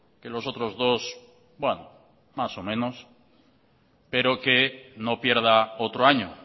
que los otros dos más o menos pero que no pierda otro año